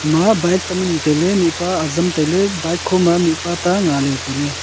ma bike tam ani tailey mihpa azam tailey bike khoma mihpa ta ngaley tailey.